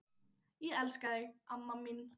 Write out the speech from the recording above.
Ég elska þig amma mín.